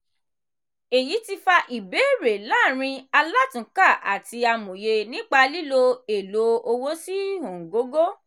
èyí ti fa ìbéèrè láàrin alátúnkà àti amòye nípa lílo èlò owó sí ọ̀ngógó.